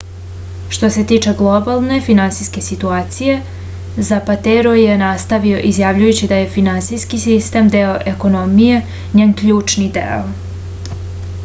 što se tiče globalne finansijske situacije zapatero je nastavio izjavljujući da je finansijski sistem deo ekonomije njen ključni deo